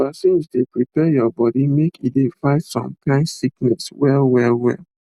vaccines dey prepare your body make e dey fight some kind sickness well well well